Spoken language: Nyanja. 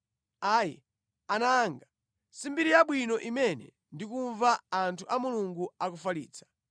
Ayi, ana anga si mbiri yabwino imene ndikumva anthu a Mulungu akufalitsa.